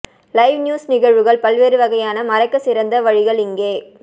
live news நிகழ்வுகள் பல்வேறு வகையான மறைக்க சிறந்த வழிகள் இங்கே